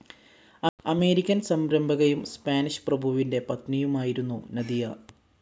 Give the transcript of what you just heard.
American സംരംഭകയും Spanish പ്രഭുവിന്റെ പത്‌നിയുമായിരുന്നു നദിയ.